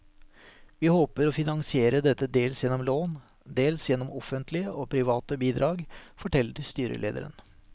Vi håper å finansiere dette dels gjennom lån, dels gjennom offentlige og private bidrag, forteller styrelederen.